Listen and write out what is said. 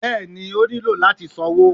bẹẹni, o niló latí sánwọ